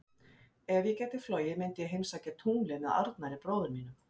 Ef ég gæti flogið myndi ég heimsækja tunglið með Arnari bróður mínum.